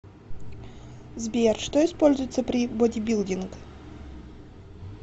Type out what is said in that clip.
сбер что используется при бодибилдинг